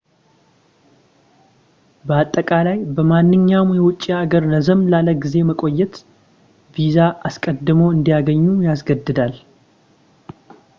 በአጠቃላይ በማንኛውም የውጭ ሀገር ረዘም ላለ ጊዜ መቆየት ቪዛ አስቀድመው እንዲያገኙ ያስገድዳል